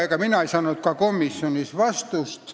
Ega mina ei saanud ka komisjonis vastust.